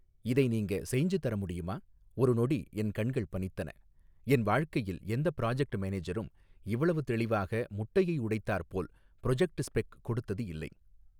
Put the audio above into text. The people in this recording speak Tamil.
இதை நீங்க செய்ஞ்சு தர முடியுமா ஒரு நொடி என் கண்கள் பனித்தன என் வாழ்க்கையில் எந்த ப்ராஜக்ட் மேனேஜரும் இவ்வளவு தெளிவாக முட்டையை உடைத்தாற்போல ப்ரொஜக்ட் ஸ்பெக் கொடுத்தது இல்லை.